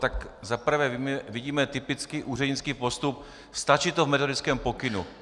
Tak za prvé vidíme typický úřednický postup - stačí to v metodickém pokynu.